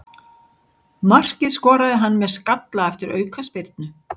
Markið skoraði hann með skalla eftir aukaspyrnu.